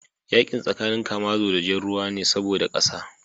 Yakin tsakanin kamazo da jar ruwa ne saboda kasa